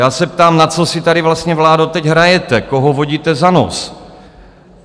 Já se ptám, na co si tady vlastně, vládo, teď hrajete, koho vodíte za nos?